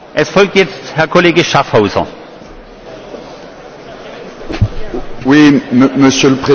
Monsieur le Président, pourquoi avons nous voté contre la résolution principale et majoritaire?